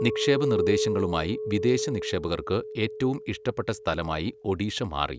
നിക്ഷേപ നിർദ്ദേശങ്ങളുമായി വിദേശ നിക്ഷേപകർക്ക് ഏറ്റവും ഇഷ്ടപ്പെട്ട സ്ഥലമായി ഒഡീഷ മാറി.